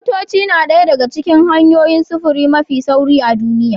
Motoci na ɗaya daga cikin hanyoyin sufuri mafi sauri a duniya